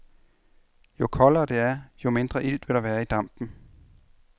Jo koldere det er, jo mindre ilt vil der være i dampen.